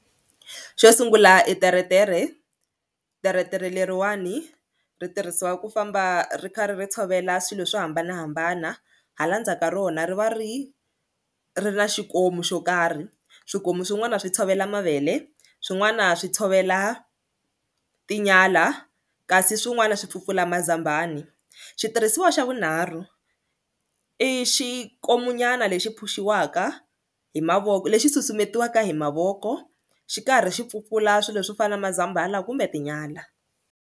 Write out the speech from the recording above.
Xo sungula i teretere teretere leriwani ri tirhisiwa ku famba ri karhi ri tshovela swilo swo hambanahambana hala ndzhaku ka rona ri va ri ri na xikomu xo karhi swikomu swin'wana swi tshovela mavele swin'wana swi tshovela tinyala kasi swin'wana swi pfupfula mazambani, xitirhisiwa xa vunharhu i xikomu nyana lexi phush-iwaka hi mavoko lexi susumetiwaka hi mavoko xi karhi xi pfupfula swilo swo fana na mazambhala kumbe tinyala.